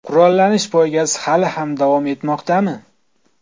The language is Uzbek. Qurollanish poygasi hali ham davom etmoqdami?.